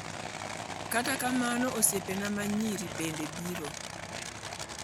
Kata mana osiepena ma nyiri bende biro.